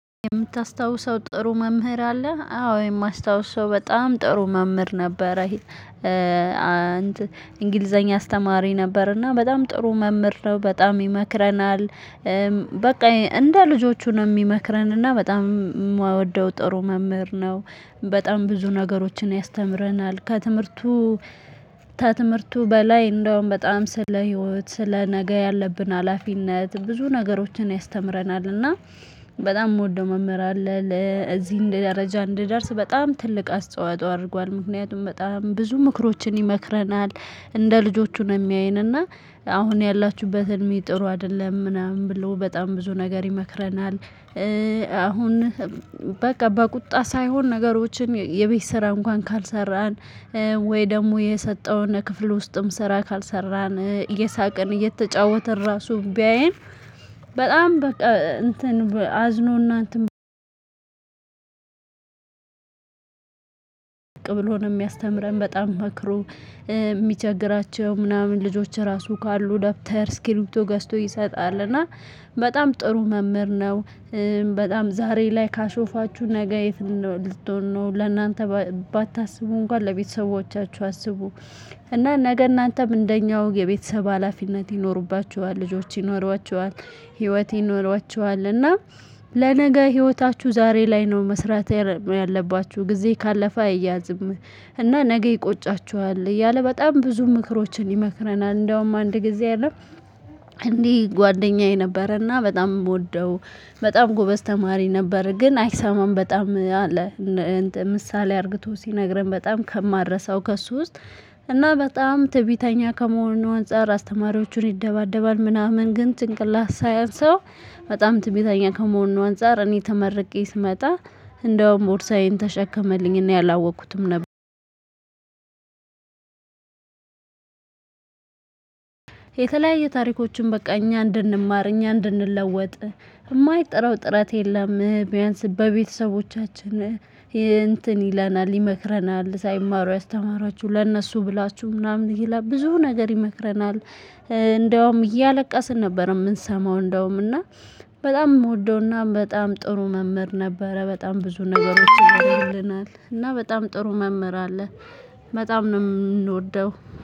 የምታስታውሰው ጥሩ መምህር አለ አዎ የማስታውሰው በጣም ጥሩ መምህር ነበረ እንግሊዘኛ አስተማሪ ነበርና በጣም ጥሩ መምህር ነው በጣም ይመክረናል። በቃ እንደ ልጆቹ ነው የሚመክረንና በጣም የማወደው ጥሩ መምህር ነው። በጣም ብዙ ነገሮችን ያስተምረናል ከትምህርቱ ከትምህርቱ በላይ እንደውም በጣም ስለ ህይወት ስለ ነገ ያለብን ሀላፊነት ብዙ ነገሮችን ያስተምረናል እና። በጣም የምወደው መምህር አለ ለዚህ እንደ ደረጃ እንደደርስ በጣም ትልቅ አስተዋጽኦ አድርጓል። ምክንያቱም በጣም ብዙ ምክሮችን ይመክረናል እንደ ልጆቹ ነው የሚያየንና አሁን ያላችሁበትን ምን ጥሩ አይደለም ምናምን ብሎ በጣም ብዙ ነገር ይመክረናል። አሁን በቃ በቁጣ ሳይሆን ነገሮችን የቤት ስራ እንኳን ካልሰራን ወይ ደግሞ የሰጠውን ክፍል ውስጥም ስራ ካልሰራን እየሳቅን እየተጫወተን ራሱ ቢያየን። በጣም በቃ እንትን አዝኖና እንትን ብሎ ነው የሚያስተምረን በጣም መክሮ። የሚቸግራቸው ምናምን ልጆች ራሱ ካሉ ደብተር ስክሪፕቶ ገዝቶ ይሰጣል እና በጣም ጥሩ መምህር ነው። በጣም ዛሬ ላይ ካሾፋችሁ ነገ የት ልትሆን ነው ለእናንተ ባታስቡ እንኳን ለቤተሰቦቻችሁ አስቡ። እና ነገ እናንተም እንደኛው የቤተሰብ ሀላፊነት ይኖሩባችኋል ልጆች ይኖሯችኋል። ህይወት ይኖሯችኋል እና ለነገ ህይወታችሁ ዛሬ ላይ ነው መስራት ያለባችሁ ጊዜ ካለፈ አይያዝም። እና ነገ ይቆጫችኋል እያለ በጣም ብዙ ምክሮችን ይመክረናል እንደውም አንድ ጊዜ የለም። እንዲህ ጓደኛዬ ነበረና በጣም የምወደው በጣም ጎበዝ ተማሪ ነበረ። ግን አይሰማም በጣም። ምሳሌ አድርግቶ ሲነግረን በጣም ከማልረሰው ከእሱ ውስጥ እና በጣም ትዕቢተኛ ከመሆኑና አንፃር አስተማሪዎቹን ይደባደባል ምናምን ግን ጭንቅላት ሳይአንሰው። በጣም ትዕቢተኛ ከመሆኑ አንፃር እኔ ተመርቄ ስመጣ እንደውም ቦርሳዬን ተሸከመልኝ እና አላወቅኩትም ነበር። የተለያዩ ታሪኮችን በቃ እኛ እንድንማር እኛ እንድንለወጥ። የማይጠራው ጥረት የለም ቢያንስ በቤተሰቦቻችን። እንትን ይለናል ይመክረናል ሳይማሩ ያስተማራችሁ ለእነሱ ብላችሁ ምናምን ይላል ብዙ ነገር ይመክረናል። እንደውም እያለቀስን ነበር ምንሰማው እንደውም እና በጣም የምወደውና በጣም ጥሩ መምህር ነበረ። በጣም ብዙ ነገሮች ይሆናል እና በጣም ጥሩ መምህር አለ። በጣም ነው የምንወደው።